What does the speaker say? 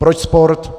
Proč sport?